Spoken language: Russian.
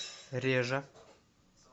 режа